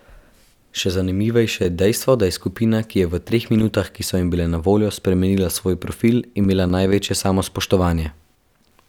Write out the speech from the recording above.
Še zanimivejše je dejstvo, da je skupina, ki je v treh minutah, ki so jim bile na voljo, spremenila svoj profil, imela največje samospoštovanje.